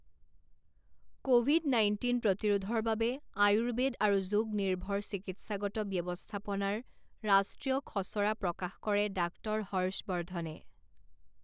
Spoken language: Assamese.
ক'ভিড নাইণ্টিন প্ৰতিৰোধৰ বাবে আয়ুৰ্বেদ আৰু যোগ নিৰ্ভৰ চিকিৎসাগত ব্যৱস্থাপনাৰ ৰাষ্ট্ৰীয় খচৰা প্ৰকাশ কৰে ডাক্টৰ হৰ্ষবৰ্ধনে